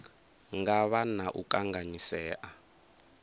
nga vha na u kanganyisea